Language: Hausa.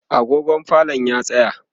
agogon falon ya tsaya